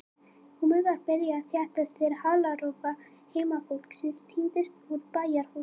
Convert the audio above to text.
Húmið var byrjað að þéttast þegar halarófa heimafólksins tíndist úr bæjarhúsunum.